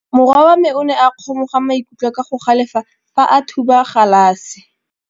Morwa wa me o ne a kgomoga maikutlo ka go galefa fa a thuba galase.